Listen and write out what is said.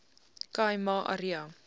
khai ma area